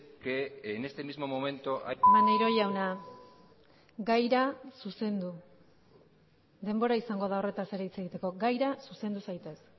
que en este mismo momento maneiro jauna gaira zuzendu denbora izango da horretaz ere hitz egiteko gaira zuzendu zaitez